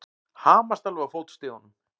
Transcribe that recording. Hamast alveg á fótstigunum!